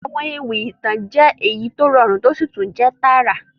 Àwọn ewì ìtàn jẹ èyí to rọrún to si tun jẹ taarà.